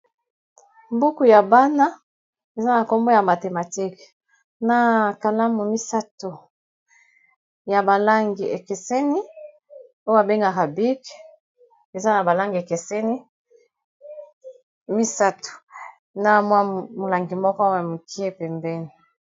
Buku ya bana na nkombo ya mathematique na kalamu misato ya balangi ekeseni oyo babengaka bic eza na balangi ekeseni misato na mwa molangi moko oyo ya mokie pembeni.